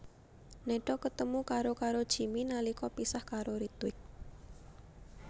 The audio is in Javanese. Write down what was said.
Neha ketemu karo karo Jimmy nalika pisah karo Ritwik